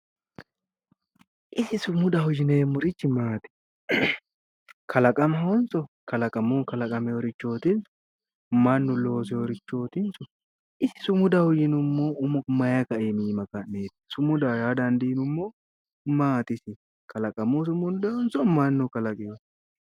sumudaho yineemmorichi isi maati kalaqamahonso kalaqamunni kalaqameereetinsso mannu loseereettinsso isi sumudaho yinummohu umo maayi kaiminni ka'neetti sumudaho yaa dandiinummohu maati isi kalaqamunni sumundoonnihonso mannu kalaqeeho